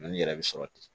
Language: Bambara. Dɔnni yɛrɛ bɛ sɔrɔ ten